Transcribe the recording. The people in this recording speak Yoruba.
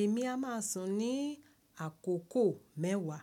Èmi a máà sùn ní àkókò mẹ́wàá.